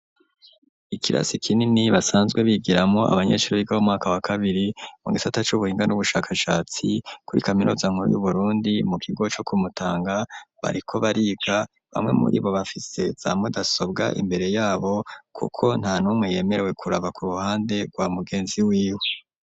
Ikirasi kinini basanzwe bigiramwo abanyesuri biga bo mwaka wa kabiri mugisata c'ubuhinga n'ubushakashatsi, kuri kaminuza nkuru y'Uburundi mu kigo co kumutanga, bariko bariga bamwe muri bo bafise za mudasobwa ,imbere yabo kuko nta numwe yemerewe kuraba ku ruhande rwa mugenzi w'iwe.